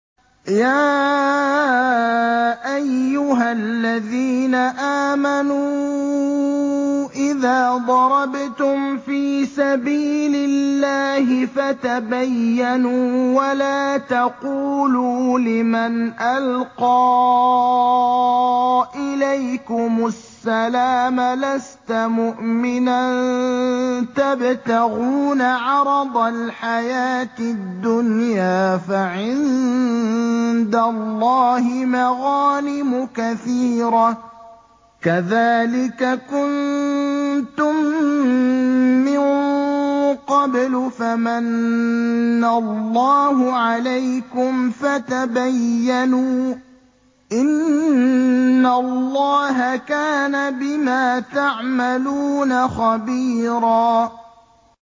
يَا أَيُّهَا الَّذِينَ آمَنُوا إِذَا ضَرَبْتُمْ فِي سَبِيلِ اللَّهِ فَتَبَيَّنُوا وَلَا تَقُولُوا لِمَنْ أَلْقَىٰ إِلَيْكُمُ السَّلَامَ لَسْتَ مُؤْمِنًا تَبْتَغُونَ عَرَضَ الْحَيَاةِ الدُّنْيَا فَعِندَ اللَّهِ مَغَانِمُ كَثِيرَةٌ ۚ كَذَٰلِكَ كُنتُم مِّن قَبْلُ فَمَنَّ اللَّهُ عَلَيْكُمْ فَتَبَيَّنُوا ۚ إِنَّ اللَّهَ كَانَ بِمَا تَعْمَلُونَ خَبِيرًا